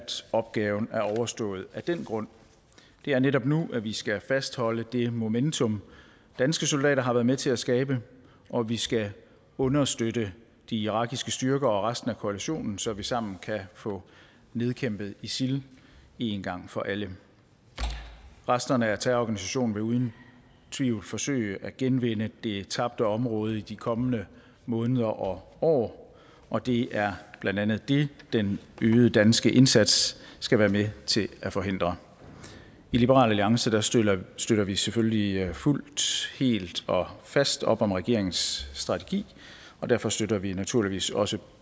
opgaven er overstået af den grund det er netop nu at vi skal fastholde det momentum danske soldater har været med til at skabe og vi skal understøtte de irakiske styrker og resten af koalitionen så vi sammen kan få nedkæmpet isil en gang for alle resterne af terrororganisationen vil uden tvivl forsøge at genvinde det tabte område i de kommende måneder og år og det er blandt andet det den øgede danske indsats skal være med til at forhindre i liberal alliance støtter støtter vi selvfølgelig fuldt helt og fast op om regeringens strategi og derfor støtter vi naturligvis også